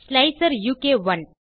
slicer உ க் 1